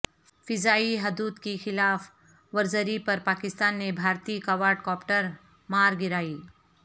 فضائی حدود کی خلاف ورزری پر پاکستان نے بھارتی کواڈ کاپٹر مار گرای